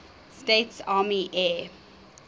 states army air